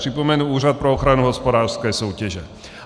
Připomenu Úřad pro ochranu hospodářské soutěže.